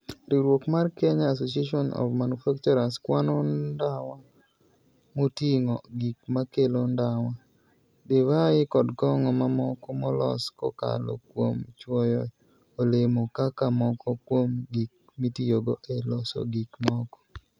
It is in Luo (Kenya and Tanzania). Riwruok mar Kenya Association of Manufacturers kwano ndawa moting'o gik makelo ndawa, divai kod kong'o mamoko molos kokalo kuom chwoyo olemo kaka moko kuom gik mitiyogo e loso gik moko.